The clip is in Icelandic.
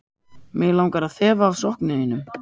Mig langar að þefa af sokkum þínum.